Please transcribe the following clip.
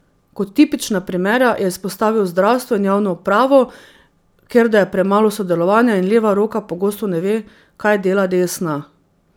Kot tipična primera je izpostavil zdravstvo in javno upravo, kjer da je premalo sodelovanja in leva roka pogosto ne ve, kaj dela desna.